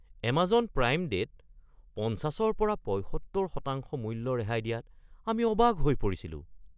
Amazon Prime ডে’ত ৫০ৰ পৰা ৭৫% মূল্য ৰেহাই দিয়াত আমি অবাক হৈ পৰিছিলোঁ।